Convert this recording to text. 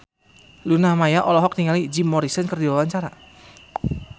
Luna Maya olohok ningali Jim Morrison keur diwawancara